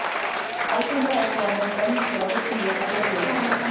Algengara er þó að menn brenni sig á heitum vökvum og gufu.